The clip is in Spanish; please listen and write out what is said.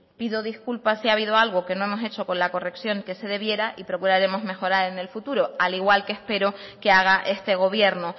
pido disculpas si ha habido algo que no hemos hecho con la corrección que se debiera y procuraremos mejorar en el futuro al igual que espero que haga este gobierno